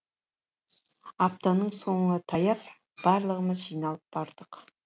аптаның соңы таяп барлығымыз жиналып бардық